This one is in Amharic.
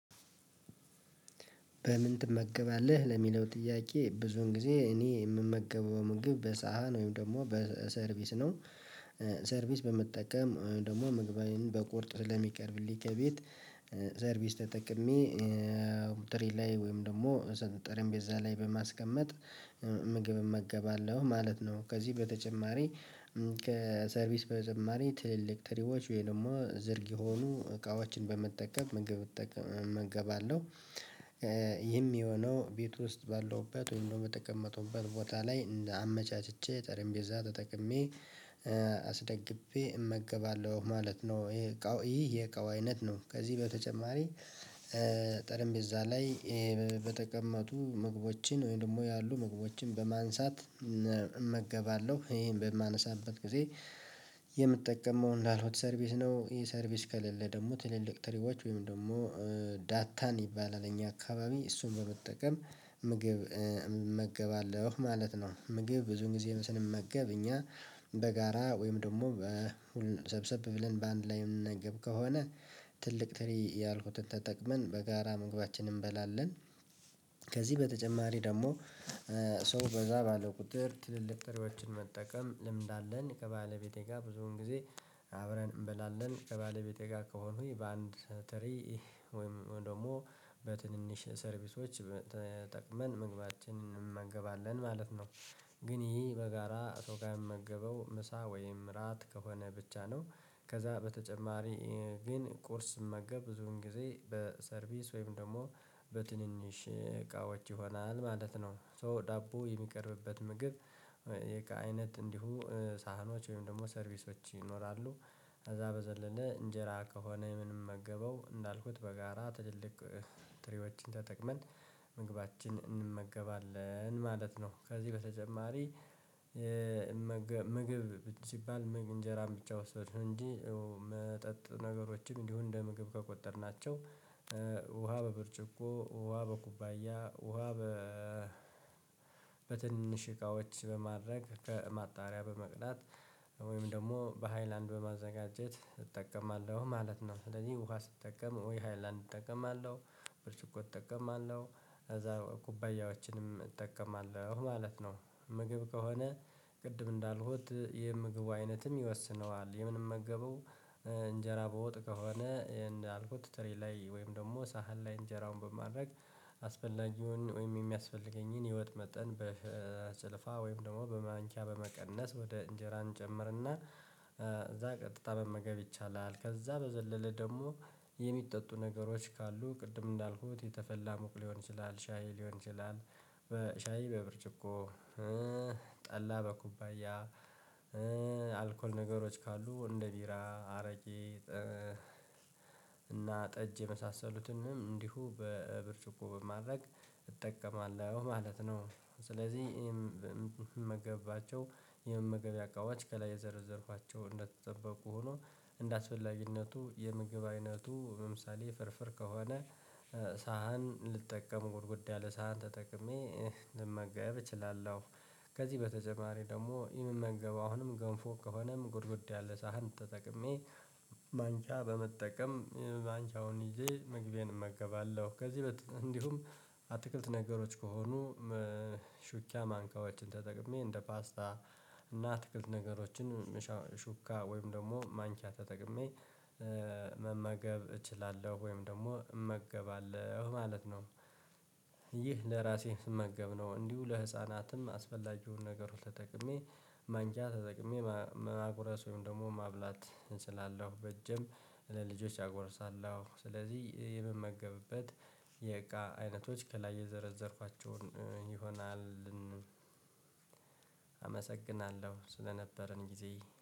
በምን ትመገባለህ ለሚለው ጥያቄ ብዙውን ጊዜ እኔ የምመገበው ምግብ በሳህን ወይም ደግሞ በሰርቪስ ነው። ሰርቪስ በመጠቀም ወይም ደግሞ ምግቤን በቁርጥ ለሚቀርብልኝ ከቤት ሰርቪስ ተጠቅሜ ትሬ ላይ ወይም ደግሞ ጠረንጴዛ ላይ በማስቀመጥ ምግብ እመገባለሁ ማለት ነው። ከዚህ በተጨማሪ ከሰርቪስ በተጨማሪ ትልቅ ትሪዎች ወይ ደግሞ ዝርግ የሆኑ እቃዎችን በመጠቀም እመገባለሁ። ይህም የሆነው ቤት ውስጥ ባለውበት ወይም ደግሞ በተቀመጥኩበት ቦታ ላይ እንደ አመቻችቼ ጠረምጴዛ ተጠቅሜ አስደግፌ እመገባለሁ ማለት ነው። ይሄ እቃው ይሄ እቃው አይነት ነው። ከዚህ በተጨማሪ ጠረምጴዛ ላይ ይሄ በተቀመጡ ምግቦችን ወይም ደግሞ ያሉ ምግቦችን በማንሳት እመገባለሁ ይሄን በማነሳበት ጊዜ የምጠቀመው እንዳልኩት ሰርቪስ ነው። ይሄ ሰርቪስ ከሌለ ደግሞ ትልልቅ ትሪዋች ወይም ደግሞ ዳታን ይባላል እኛ አካባቢ እሱን በመጠቀም ምግብ እመገባለሁ ማለት ነው። ምግብ ብዙን ጊዜ ስንመገብ እኛ በጋራ ወይም ደግሞ ሰብሰብ ብለን በአንድ ላይ የምንመገብ ከሆነ ትልቅ ትሪ ያልኩትን ተጠቅመን በጋራ መግባችንን እንበላለን። ከዚህ በተጨማሪ ደግሞ ሰው በዛ ባለ ቁጥር ትልልቅ ትሪዎችን መጠቀም ልምድ አለን። ከባለቤቴ ጋር ብዙውን ጊዜ አብረን እንበላለን። ከባለቤቴ ጋር ከሆንኩኝ በአንድ ትሪ ወይም ደግሞ በትንንሽ ሰርቪሶች ተጠቅመን ምግባችንን እንመገባለን ማለት ነው። ግን ይሄ በጋራ ከሰው ጋር የምመገበው ምሳ ወይም ምራት ከሆነ ብቻ ነው። ከዛ በተጨማሪ ግን ቁርስ ስመገብ ብዙን ጊዜ በሰርቪስ ወይም ደግሞ በትንንሽ እቃዎች ይሆናል ማለት ነው። ሶ ዳቦ የሚቀርብበት ምግብ አይነት እንዲሁ ሳህኖች ወይም ደግሞ ሰርቪሶች ይኖራሉ። ከዛ በዘለለ እንጀራ ከሆነ ምንመገበው እንዳልኩት በጋራ ትልልቅ ትሪዎችን ተጠቅመን ምግባችን እንመገባለን ማለት ነው። ከዚህ በተጨማሪ ምግብ ሲባል ምግብ እንጀራን ብቻ ወሰድን እንጂ መጠጥ ነገሮችን እንዲሁ እንደ ምግብ ከቆጠርናቸው ውሃ በብርጭቆ ውሃ በኩባያ ውሃ በ በትንንሽ እቃዎች በማድረግ ከማጣሪያ በመቅዳት ወይም ደግሞ በሃይላንድ በማዘጋጀት እጠቀማለሁ ማለት ነው። ስለዚህ ውሃ ስጠቀም ወይ ሃይላንድ እጠቀማለሁ ብርጭቆ እጠቀማለሁ እዛ ኩባያዎችንም እጠቀማለሁ ማለት ነው። ምግብ ከሆነ ቅድም እንዳልኩት የምግቡ አይነትም ይወስነዋል የምንመገበው እንጀራ በወጥ ከሆነ እንዳልኩት ትሪ ላይ ወይም ደግሞ ሳህን ላይ እንጀራውን በማድረግ አስፈላጊውን ወይም የሚያስፈልገኝን የወጥ መጠን በጭልፋ ወይም ደግሞ በማንኪያ በመቀነስ ወደ እንጀራ እንጨምርና ከዛ ቀጥታ መመገብ ይቻላል። ከዛ በዘለለ ደግሞ የሚጠጡ ነገሮች ካሉ ቅድም እንዳልኩት የተፈላ ሞቅ ሊሆን ይችላል ሻይ ሊሆን ይችላል። በሻይ በብርጭቆ ጠላ በኩባያ አልኮል ነገሮች ካሉ እንደ ቢራ አረቄ እና ጠጅ የመሳሰሉትንም እንዲሁ በብርጭቆ በማድረግ እጠቀማለሁ ማለት ነው። ስለዚህ እምመገብባቸው የመመገቢያ እቃዎች ከላይ የዘረዘርኳቸው እንደተጠበቁ ሆኖ እንደአስፈላጊነቱ የምግብ አይነቱ ለምሳሌ ፍርፍር ከሆነ ሳህን ልጠቀም ጎድጎድ ያለ ሳህን ተጠቅሜ ልመገብ እችላለሁ። ከዚህ በተጨማሪ ደግሞ የምመገበው አሁንም ገንፎ ከሆነም ጎድጎድ ያለ ሳህን ተጠቅሜ ማንኪያ በመጠቀም ማንኪያውን ይዤ ምግቤን እመገባለሁ። ከዚህ እንዲሁም አትክልት ነገሮች ከሆኑ ማንኪያዎችን ተጠቅሜ እንደ ፓስታ እና አትክልት ነገሮችን ሹካ ወይም ደግሞ ማንኪያ ተጠቅሜ መመገብ እችላለሁ ወይም ደግሞ እመገባለሁ ማለት ነው። ይህ ለራሴ ስመገብ ነው። እንዲሁ ለህፃናትም አስፈላጊውን ነገር ሁሉ ተጠቅሜ ማንኪያ ተጠቅሜ ማጉረስ ወይም ደግሞ ማብላት እችላለሁ። በእጅም ለልጆች አጎርሳለሁ። ስለዚህ የምመገብበት የእቃ አይነቶች ከላይ የዘረዘርኳቸውን ይሆናል። አመሰግናለሁ ስለነበረን ጊዜ።